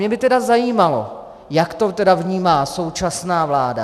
Mě by tedy zajímalo, jak to tedy vnímá současná vláda.